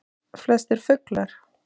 Flestir fuglar